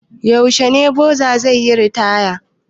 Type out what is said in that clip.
Yaushe ne boza nan zai yi ritaya?